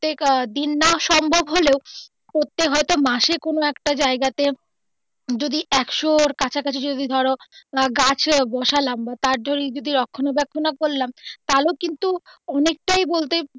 প্রত্যেক দিন না সম্ভব হলেও প্রত্যেক হয় তো মাসে কোনো একটা জায়গাতে যদি একশোর কাছাকাছি যদি ধরো গাছ বসলাম বা তার যদি রক্ষনা বেক্ষন করলাম তাহলেও কিন্তু অনেকটাই বলতে.